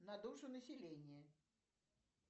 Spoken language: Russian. на душу населения